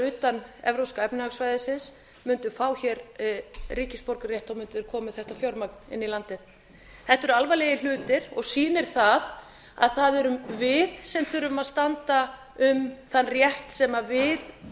utan evrópska efnahagssvæðisins mundu fá hér ríkisborgararétt mundu þeir koma með þetta fjármagn inn í landið þetta eru alvarlegir hlutir og sýnir það að það erum við sem þurfum að standa um þann rétt sem við